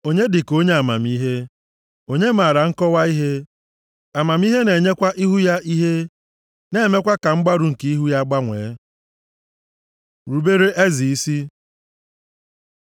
Onye dị ka onye amamihe? Onye maara nkọwa ihe? Amamihe na-enyekwa ihu ya ihe, na-emekwa ka mgbarụ nke ihu ya gbanwee. Rubere eze isi